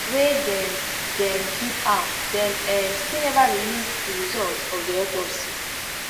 wey dem dem keep am dem um still neva release di result of di autopsy